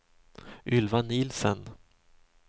Ylva Nielsen